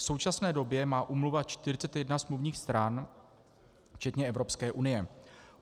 V současné době má úmluva 41 smluvních stran, včetně Evropské unie.